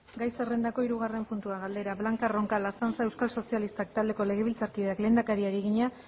gai zerrendako hirugarren puntua galdera blanca roncal azanza euskal sozialistak taldeko legebiltzarkideak lehendakariari egina